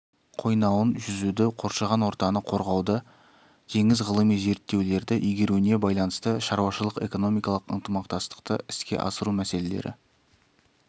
қойнауын жүзуді қоршаған ортаны қорғауды теңіз ғылыми зерттеулерді игеруіне байланысты шаруашылық-экономикалық ынтымақтастықты іске асыру мәселелері